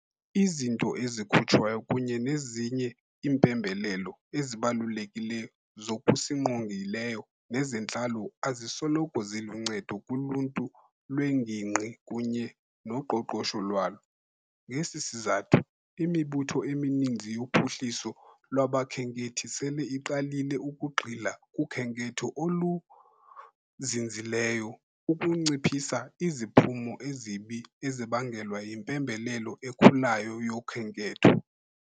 Izinto ezikhutshwayo kunye nezinye iimpembelelo ezibalulekileyo zokusingqongileyo nezentlalo azisoloko ziluncedo kuluntu lwengingqi kunye noqoqosho lwalo. Ngesi sizathu, imibutho emininzi yophuhliso lwabakhenkethi sele iqalile ukugxila kukhenketho oluzinzileyo ukunciphisa iziphumo ezibi ezibangelwa yimpembelelo ekhulayo yokhenketho.